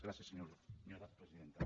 gràcies senyora presidenta